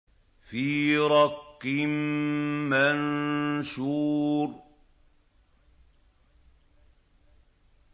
فِي رَقٍّ مَّنشُورٍ